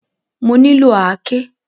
Mo nílò àáké.